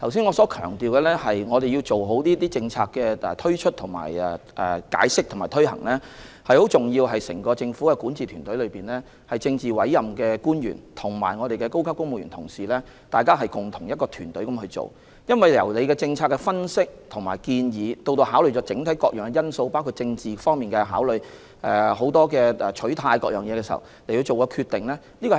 我剛才強調必須好好解釋和推行政策，這點很重要，整支管治團隊內的政治委任官員及高級公務員，同心協力進行工作，對政策進行分析和提出建議，並考慮各項因素，包括政治因素和取態等，然後作出決定。